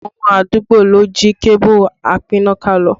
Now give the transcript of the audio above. Àwọn ọmọ àdúgbò ló jí kébù apínnáká lọ